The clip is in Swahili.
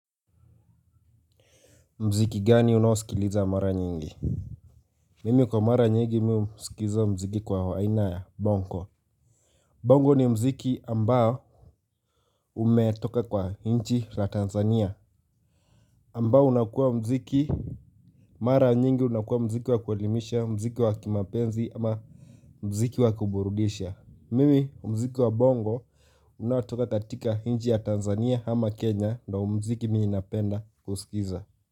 Mziki gani unaosikiliza mara nyingi? Mimi kwa mara nyingi husikiza muziki kwa haina ya bongo. Bongo ni muziki ambao umetoka kwa nchi la Tanzania Ambao unakuwa muziki mara nyingi unakuwa muziki wa kuelimisha, muziki wa kimapenzi ama muziki wa kuburudisha. Mimi muziki wa bongo unaotoka katika nchi ya Tanzania ama Kenya ndio muziki mimi napenda kusikiza.